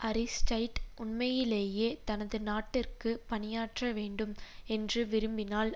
Aristide உண்மையிலேயே தனது நாட்டிற்கு பணியாற்ற வேண்டும் என்று விரும்பினால்